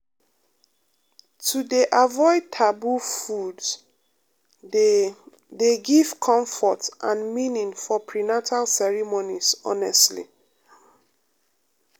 um to dey avoid taboo foods dey dey give comfort and meaning for prenatal ceremonies honestly um um.